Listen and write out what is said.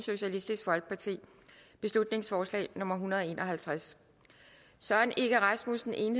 beslutningsforslag nummer hundrede og en og halvtreds søren egge rasmussen